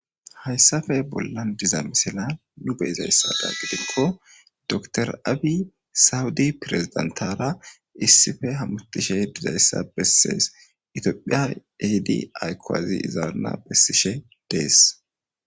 Hayssafe bollan diza misila nu beyizayssada gidikko dr aabi sawudi pirezidentara issife hamutishe dizayssa bessees itiophiya eidi aykuwazi izaanna bessishe dees.